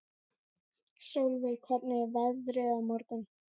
Solveig, hvernig er veðrið á morgun?